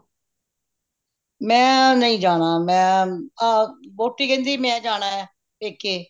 ਮੈਂ ਨਹੀਂ ਜਾਣਾ ਮੈ ਅ ਵੋਟੀ ਕਹਿੰਦੀ ਮੈ ਜਾਣਾ ਪੇਕੇ